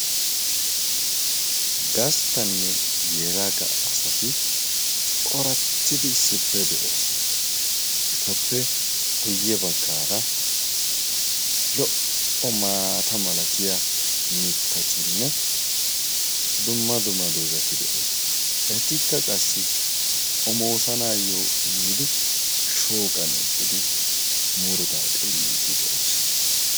gasttanne yelagga asati corattidi issippe de7oosana etappe guyye baggaara lo77o maata malatiya mittatinne dumma duma dozati de7oosana eetikka qassi xomoosanaayyo yiidi shooqan eqqidi murddaa xelliiddi de7oosana